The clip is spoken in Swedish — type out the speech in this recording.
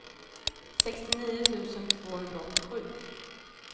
sextionio tusen tvåhundraåttiosju